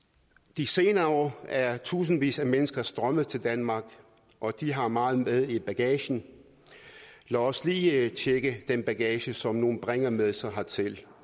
de senere år er tusindvis af mennesker strømmet til danmark og de har meget med i bagagen lad os lige tjekke den bagage som nogle bringer med sig hertil